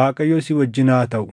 Waaqayyo si wajjin haa taʼu.